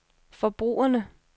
forbrugerne